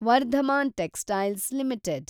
Varthaman textiles limited